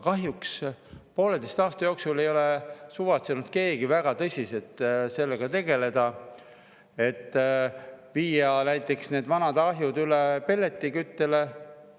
Kahjuks poolteise aasta jooksul ei ole suvatsenud keegi väga tõsiselt tegeleda sellega, et viia näiteks need vanad ahjud üle pelletiküttele.